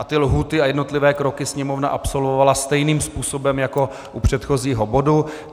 A ty lhůty a jednotlivé kroky Sněmovna absolvovala stejným způsobem jako u předchozího bodu.